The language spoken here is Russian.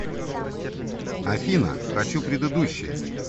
афина хочу предыдущее